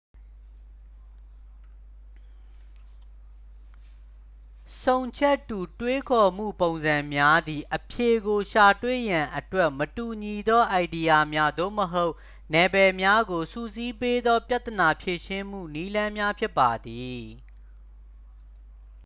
ဆုံချက်တူ တွေးခေါ်မှုပုံစံများသည် အဖြေကိုရှာတွေ့ရန်အတွက် မတူညီသောအိုင်ဒီယာများ သို့မဟုတ် နယ်ပယ်များကို စုစည်းပေးသော ပြဿနာဖြေရှင်းမှုနည်းလမ်းများဖြစ်ပါသည်